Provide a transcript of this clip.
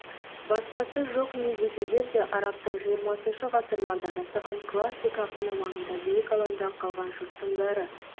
басқасы жоқ не десеңдер де арабтың жиырмасыншы ғасырларда жасаған классик ақыны маңында биік алаңда қалған жұрттың бәрі